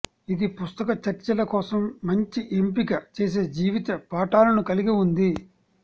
ఇది పుస్తక చర్చల కోసం మంచి ఎంపిక చేసే జీవిత పాఠాలను కలిగి ఉంది